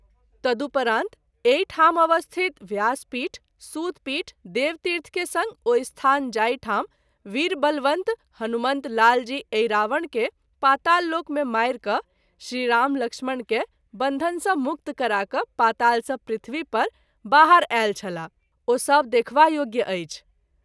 तदुपरांत एहि ठाम अवस्थित व्यास पीठ, सूत पीठ, देवतीर्थ के संग ओ स्थान जाहि ठाम वीर बलवंत हनुमंत लाल जी अहिरावण के पाताल लोक मे मारि क’ श्री राम लक्ष्मण के बन्घन सँ मुक्त करा क’ पाताल सँ पृथ्वी पर बाहर आयल छलाह ओ सभ देखबा योग्य अछि।